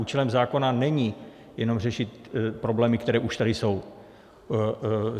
Účelem zákona není jenom řešit problémy, které už tady jsou.